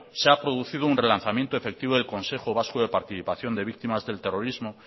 se ha producido un relanzamiento efectivo del consejo vasco de participación de víctimas del terrorismo